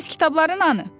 Bəs kitabların hanı?